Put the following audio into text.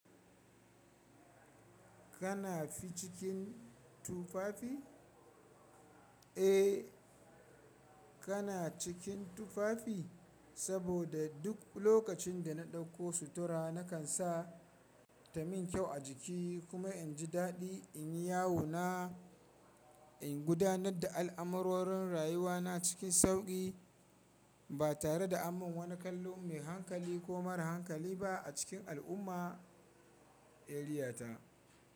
Kana fi cikin tufafi? Eh, kana cikin tufafi saboda duk lokacin da na ɗauko sutura nakan sa ta min kyau a jiki kuma in ji daɗi in yawo na ingudanar da al’amurorin rayuwa na cikin sauƙi ba tare da aman wani kallo mai hankali ko mara hankali ba a cikin al'umma/ eriyata.